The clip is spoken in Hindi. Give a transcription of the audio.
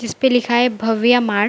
जिसपे लिखा है भव्या मार्ट ।